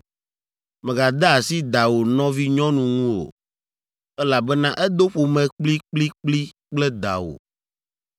“ ‘Mègade asi dawò nɔvinyɔnu ŋu o, elabena edo ƒome kplikplikpli kple dawò.